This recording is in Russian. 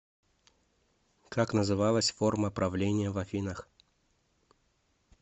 как называлась форма правления в афинах